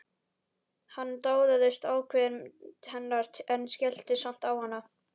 Hann dáðist að ákveðni hennar en skellti samt á hana.